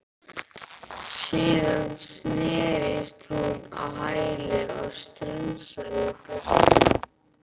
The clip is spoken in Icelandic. Síðan snerist hún á hæli og strunsaði í burtu.